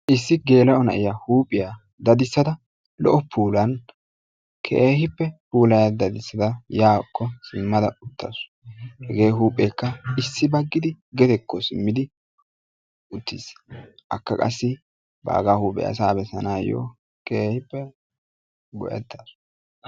Issi geela'o na'iyaa huuphiyaa dadissada lo'o puulan keehippe puulaya dadissada yaakko simmada uttasu. Hegee huupheekka issi baggidi gedekko simmidi uttis. Akka qassi baagaa huuphiyaa asaa bessanaayoo keehippe go'etasu.